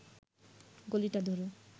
গলিটা ধরে